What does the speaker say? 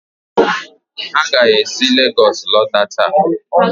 ha ga-esi Legọs lọta taa?